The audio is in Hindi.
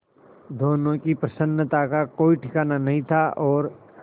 दोनों की प्रसन्नता का कोई ठिकाना नहीं था और